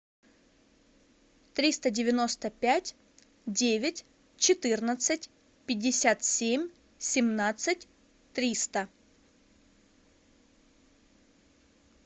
триста девяносто пять девять четырнадцать пятьдесят семь семнадцать триста